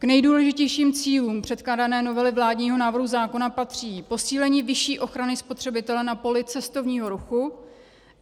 K nejdůležitějším cílům předkládané novely vládního návrhu zákona patří posílení vyšší ochrany spotřebitele na poli cestovního ruchu;